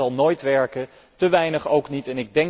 Té veel zal nooit werken, té weinig ook niet.